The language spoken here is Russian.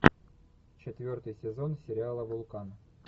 четвертый сезон сериала вулкан